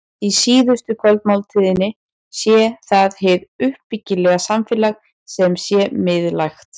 Í síðustu kvöldmáltíðinni sé það hið uppbyggilega samfélag sem sé miðlægt.